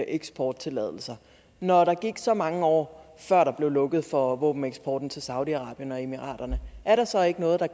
eksporttilladelser når der gik så mange år før der blev lukket for våbeneksporten til saudi arabien og emirater er der så ikke noget der